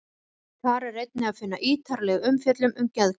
Þar er einnig að finna ítarlegri umfjöllun um geðklofa.